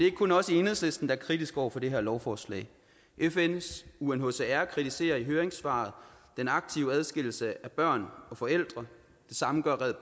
ikke kun os i enhedslisten der er kritiske over for det her lovforslag fns unhcr kritiserer i høringssvaret den aktive adskillelse af børn og forældre det samme gør red